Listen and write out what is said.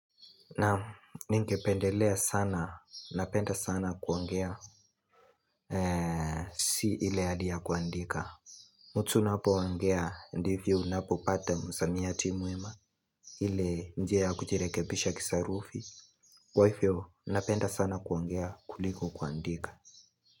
Naam ninge pendelea sana, napenda sana kuongea, si ile adi ya kuandika mtu unapoongea, ndivyo unapopata msamiati mwema, ile njia ya kuchirekebisha kisarufi Kwa ifyo, napenda sana kuongea kuliko kuandika.